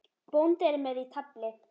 Bóndi er með í tafli.